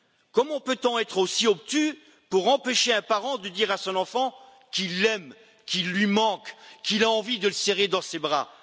Comment peut on être aussi obtus pour empêcher un parent de dire à son enfant qu'il l'aime, qu'il lui manque, qu'il a envie de le serrer dans ses bras.